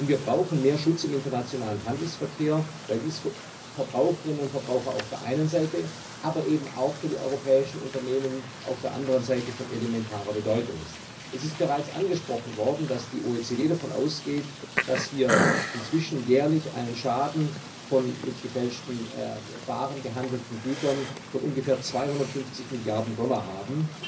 Wir brauchen mehr Schutz im internationalen Handelsverkehr, weil dies für Verbraucherinnen und Verbraucher auf der einen Seite, aber eben auch für die europäischen Unternehmen auf der anderen Seite von elementarer Bedeutung ist. Es ist bereits angesprochen worden, dass die OECD davon ausgeht, dass wir aufgrund des Handels mit gefälschten Waren inzwischen jährlich einen Schaden von ungefähr 250 Milliarden Dollar haben.